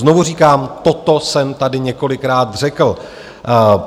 Znovu říkám, toto jsem tady několikrát řekl.